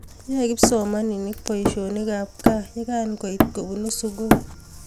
yoe kipsomaninik boisinik ab kaa ye kankoitu kobunuu sukul